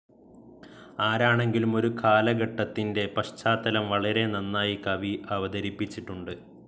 ആരാണെങ്കിലും ഒരു കാലഘട്ടത്തിന്റെ പശ്ചാത്തലം വളരെ നന്നായി കവി അവതരിപ്പിച്ചിട്ടുണ്ട്.